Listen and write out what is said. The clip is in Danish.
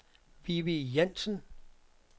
Vivi Jansen